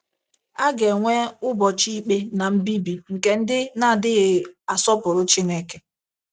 A ga - enwe “ ụbọchị ikpe na mbibi nke ndị na - adịghị asọpụrụ Chineke. ”